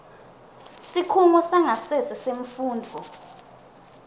sikhungo sangasese semfundvo